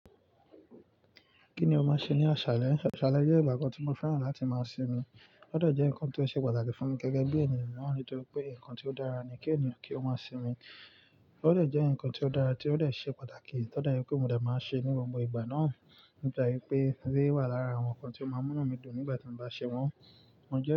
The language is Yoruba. Kí ni o máa ṣe ní aṣalẹ̀? Aṣàlẹ̀ jẹ́ ìgbà kan tí mo fẹ́ràn láti máa sinmi. Ó dé jẹ́ nǹkan tó ṣe pàtàkì fún mi gẹ́gẹ́ bí ènìyàn naa, nítorí pé ǹkan tí ó dára ni kí ènìyàn kí ó máa sinmi. Ó de jẹ́ ǹkan tí ó dára tí ó de ṣẹ́ pàtàkì tọ́ dà yín pé mo de máa ṣe ní gbogbo ìgbà náà. Mogba wí pé, eléré wà lára àwọn ǹkan tí ó máa mú inu mi dùn nígbà tí mo bá ṣe wọ́n.